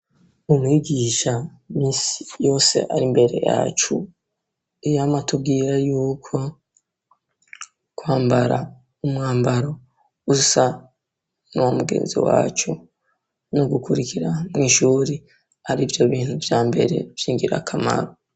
Umwigisha iminsi yose ari mbere yacu, yama atubwira yuko kwambara umwambaro usa n'uwa mugenzi wacu no gukurikira mw'ishuri, ar'ivyo bintu vya mbere vy'ingirakamaro.